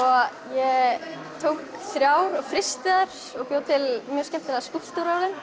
ég tók þrjár og frysti þær og bjó til skemmtilega skúlptúra úr þeim